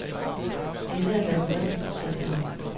Dette er en labyrint, tænkte han.